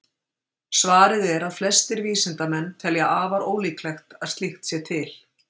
Svarið er að flestir vísindamenn telja afar ólíklegt að slíkt sé til.